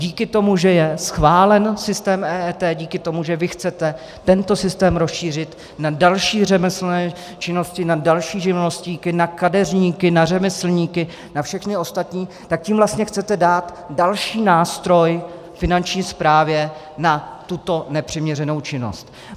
Díky tomu, že je schválen systém EET, díky tomu, že vy chcete tento systém rozšířit na další řemeslné činnosti, na další živnostníky, na kadeřníky, na řemeslníky, na všechny ostatní, tak tím vlastně chcete dát další nástroj Finanční správě na tuto nepřiměřenou činnost.